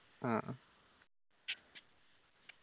ആ